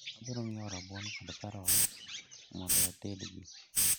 Abiro nyiewo rabuon kod karot mondo atedgi